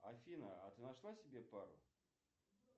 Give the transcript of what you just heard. афина а ты нашла себе пару